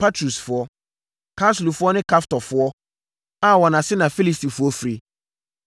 Patrusfoɔ, Kasluhfoɔ ne Kaftorfoɔ a wɔn ase na Filistifoɔ firi.